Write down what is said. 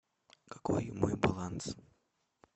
какой мой баланс